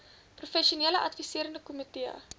professionele adviserende komitee